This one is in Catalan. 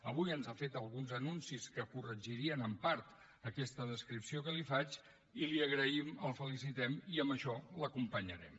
avui ens ha fet alguns anuncis que corregirien en part aquesta descripció que li faig i li ho agraïm el felicitem i en això l’acompanyarem